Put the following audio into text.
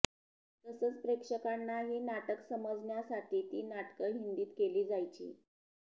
तसंच प्रेक्षकांनाही नाटकं समजण्यासाठी ती नाटकं हिंदीत केली जायची